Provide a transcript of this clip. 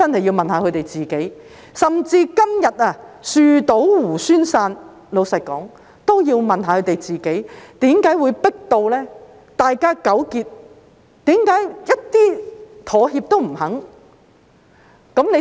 老實說，即使今天樹倒猢猻散，他們應該問一問自己，為甚麼會迫到大家如斯糾結，沒有一點妥協的餘地。